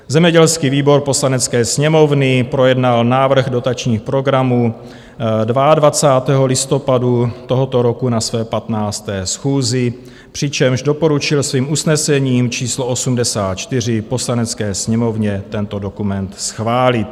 Zemědělský výbor Poslanecké sněmovny projednal návrh dotačních programů 22. listopadu tohoto roku na své 15. schůzi, přičemž doporučil svým usnesením číslo 84 Poslanecké sněmovně tento dokument schválit.